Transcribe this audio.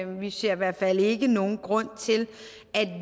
vi ser i hvert fald ikke nogen grund til